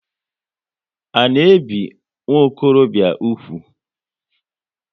A na ebi nwokorobia úgwù?